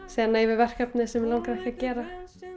segja nei við verkefnum sem mig langaði ekki að gera